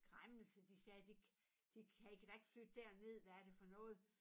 Græmmelse de sagde det det kan i kan da ikke flytte derned hvad er det for noget